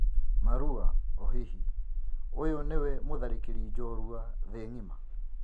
(Marua) O-hihi, ũyũ nĩwe mũtharĩkĩri njorua thĩ ng'ima?